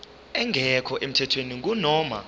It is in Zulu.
engekho emthethweni kunoma